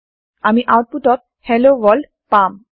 আমি আওতপুত ত hello world পাম